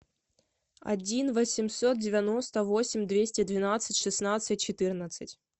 один восемьсот девяносто восемь двести двенадцать шестнадцать четырнадцать